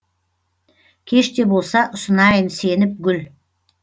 кеш те болса ұсынайын сеніп гүл